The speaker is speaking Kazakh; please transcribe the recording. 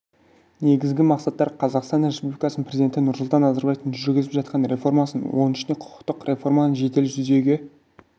негізгі мақсаттары қазақстан республикасының президенті нұрсұлтан назарбаевтың жүргізіп жатқан реформасының оның ішінде құқықтық реформаның жедел жүзеге